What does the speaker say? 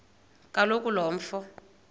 kaloku lo mfo